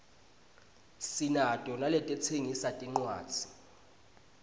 sinato naletitsengisa tincuadzi